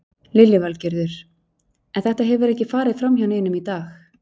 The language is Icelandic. Lillý Valgerður: En þetta hefur ekki farið fram hjá neinum í dag?